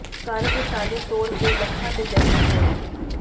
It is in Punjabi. ਘਰ ਦੇ ਤਾਲੇ ਤੋੜ ਕੇ ਲੱਖਾਂ ਦੇ ਗਹਿਣੇ ਚੋਰੀ